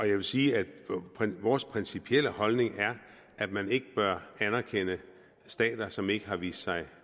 jeg vil sige at vores principielle holdning er at man ikke bør anerkende stater som ikke har vist sig